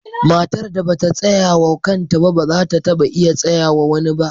Matar da ba ta tsaya wa kanta ba, ba za ta taba iya tsayawa wa wani ba.